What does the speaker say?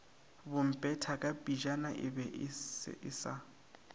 bomphetakapejana e be e sa